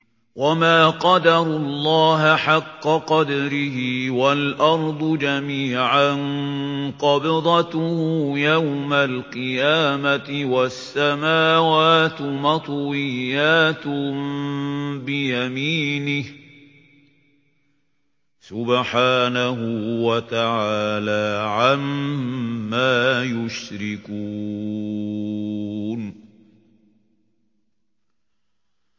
وَمَا قَدَرُوا اللَّهَ حَقَّ قَدْرِهِ وَالْأَرْضُ جَمِيعًا قَبْضَتُهُ يَوْمَ الْقِيَامَةِ وَالسَّمَاوَاتُ مَطْوِيَّاتٌ بِيَمِينِهِ ۚ سُبْحَانَهُ وَتَعَالَىٰ عَمَّا يُشْرِكُونَ